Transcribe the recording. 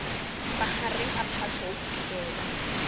mahareng a phato ho fihlela